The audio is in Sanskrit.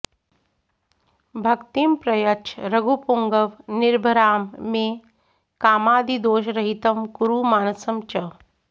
भक्तिं प्रयच्छ रघुपुङ्गव निर्भरां मे कामादिदोषरहितं कुरु मानसं च